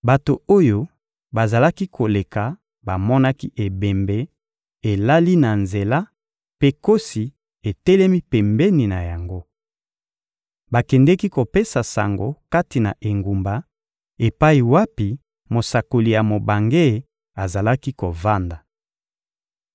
Bato oyo bazalaki koleka bamonaki ebembe elali na nzela mpe nkosi etelemi pembeni na yango. Bakendeki kopesa sango kati na engumba epai wapi mosakoli ya mobange azalaki kovanda.